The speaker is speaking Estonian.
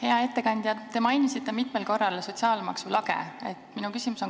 Hea ettekandja, te mainisite mitmel korral sotsiaalmaksu lage.